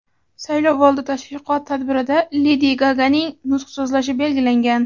saylovoldi tashviqot tadbirida Ledi Gaganing nutq so‘zlashi belgilangan.